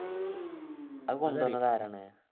അതു കൊണ്ടുവന്നത് ആരാണ്